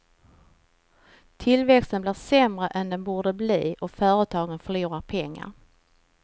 Tillväxten blir sämre än den borde bli och företaget förlorar pengar.